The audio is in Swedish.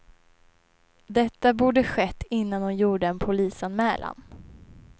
Detta borde skett innan hon gjorde en polisanmälan.